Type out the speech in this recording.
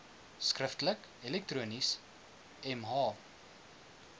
skriftelik elektronies mh